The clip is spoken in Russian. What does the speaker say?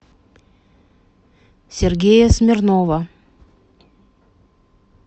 сергея смирнова